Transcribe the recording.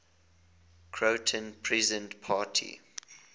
croatian peasant party